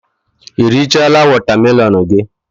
I richala wotamelon gi?